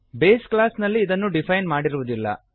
base class ನಲ್ಲಿ ಇದನ್ನು define ಮಾಡಿರುವುದಿಲ್ಲ